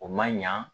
O man ɲa